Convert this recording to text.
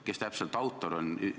Kes täpselt autor on?